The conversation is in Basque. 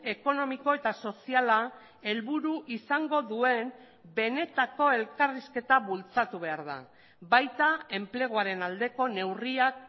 ekonomiko eta soziala helburu izango duen benetako elkarrizketa bultzatu behar da baita enpleguaren aldeko neurriak